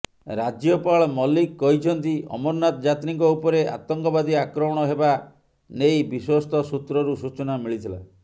ରାଜ୍ୟପାଳ ମଲିକ କହିଛନ୍ତି ଅମରନାଥ ଯାତ୍ରୀଙ୍କ ଉପରେ ଆତଙ୍କବାଦୀ ଆକ୍ରମଣ ହେବା ନେଇ ବିଶ୍ୱସ୍ତ ସୂତ୍ରରୁ ସୂଚନା ମିଳିଥିଲା